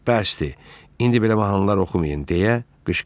Bəsdir, indi belə mahnılar oxumayın, deyə qışqırdı.